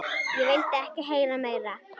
Ég vildi ekki heyra meira.